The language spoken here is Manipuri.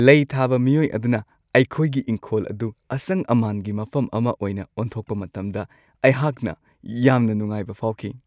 ꯂꯩ ꯊꯥꯕ ꯃꯤꯑꯣꯏ ꯑꯗꯨꯅ ꯑꯩꯈꯣꯏꯒꯤ ꯏꯪꯈꯣꯜ ꯑꯗꯨ ꯑꯁꯪ-ꯑꯃꯥꯟꯒꯤ ꯃꯐꯝ ꯑꯃ ꯑꯣꯏꯅ ꯑꯣꯟꯊꯣꯛꯄ ꯃꯇꯝꯗ ꯑꯩꯍꯥꯛꯅ ꯌꯥꯝꯅ ꯅꯨꯡꯉꯥꯏꯕ ꯐꯥꯎꯈꯤ ꯫